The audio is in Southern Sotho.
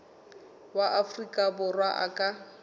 wa afrika borwa a ka